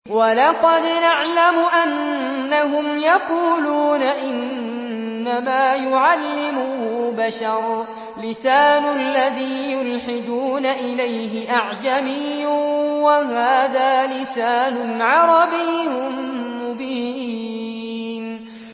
وَلَقَدْ نَعْلَمُ أَنَّهُمْ يَقُولُونَ إِنَّمَا يُعَلِّمُهُ بَشَرٌ ۗ لِّسَانُ الَّذِي يُلْحِدُونَ إِلَيْهِ أَعْجَمِيٌّ وَهَٰذَا لِسَانٌ عَرَبِيٌّ مُّبِينٌ